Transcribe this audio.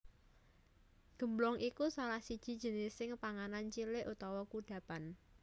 Gemblong iku salah siji jenising panganan cilik utawa kudhapan